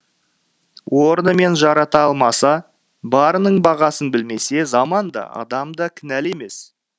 орнымен жарата алмаса барының бағасын білмесе заман да адам да кінәлі емес